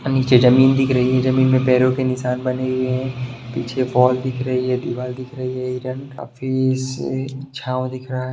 नीचे जमीन दिख रही है जमीन में पैरों के निशान बने हुए हैं पीछे फाल दिख रही है दीवाल दिख रही है हिरन काफी इसे छांव दिख रहा --